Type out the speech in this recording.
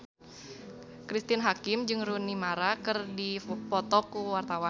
Cristine Hakim jeung Rooney Mara keur dipoto ku wartawan